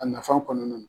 A nafan kɔnɔna na